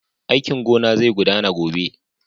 Aikin gona zai gudana gobe.